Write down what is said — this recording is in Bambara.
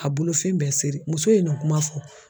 A bolofɛn bɛɛ seri muso ye nin kuma fɔ.